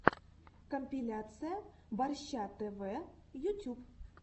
компиляция борща тв ютюб